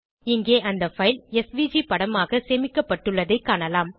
இங்கே அந்த file SVG படமாக சேமிக்கப்பட்டுள்ளதைக் காணலாம்